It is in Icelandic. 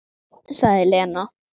Sagði Lena.